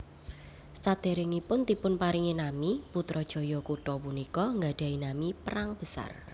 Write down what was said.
Saderengipun dipunparingi nami Putrajaya kutha punika nggadhahi nami Perang Besar